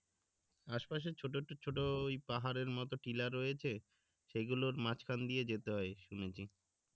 আশপাশে ছোট তো ছোট পাহাড়ের মতো টিলা রয়েছে সেগুলোর মাঝখান দিয়ে যেতে হয় শুনেছি